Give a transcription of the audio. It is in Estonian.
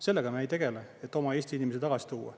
Sellega me ei tegele, et oma eesti inimesi tagasi tuua.